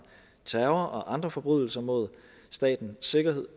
terror og andre forbrydelser mod statens sikkerhed